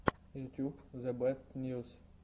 ютьюб зебестньюс